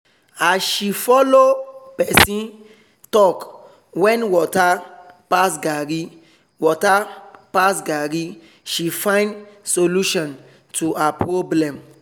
as she follow person talk when water pass garri water pass garri she find solution to her problem